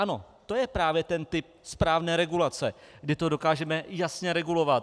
Ano, to je právě ten typ správné regulace, kdy to dokážeme jasně regulovat.